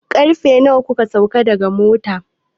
Karfe nawa kuka sauka daga mota?